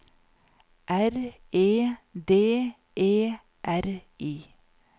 R E D E R I